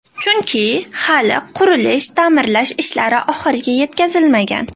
Chunki, hali qurilish-ta’mirlash ishlari oxiriga yetkazilmagan.